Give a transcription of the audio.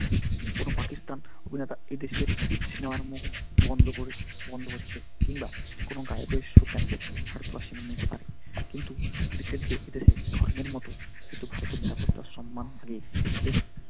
কোন পাকিস্তান উপনেতা এদেশের সেনার মুখ বন্ধ করে বন্ধ করছে কিংবা কোন গায়কের show cancel ভারতবাসী মেনে নিতে পারেনি কিন্তু এদেশে ধর্মের মত কিন্তু ভারতের নিরাপত্তা সম্মান বেশ,